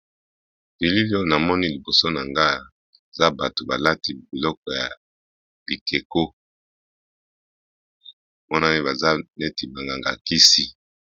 Bilili oyo na moni liboso na nga za bato balati biloko ya bikeko monani baza neti banganga kisi.